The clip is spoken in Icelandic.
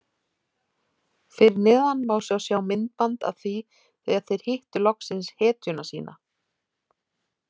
Fyrir neðan má svo sjá myndband af því þegar þeir hittu loksins hetjuna sína.